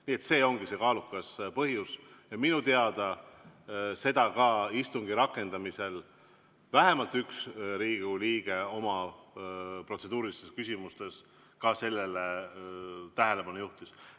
Nii et see ongi see kaalukas põhjus ja minu teada sellele ka istungi rakendamisel vähemalt üks Riigikogu liige oma protseduurilistes küsimustes tähelepanu juhtis.